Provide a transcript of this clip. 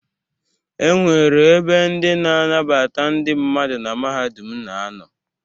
E nwere ebe ndị na-anabata ndị mmadụ na mahadum na-anọ.